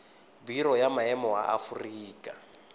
biro ya maemo ya aforika